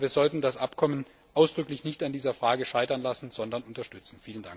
Aber wir sollten das Abkommen ausdrücklich nicht an dieser Frage scheitern lassen, sondern es unterstützen.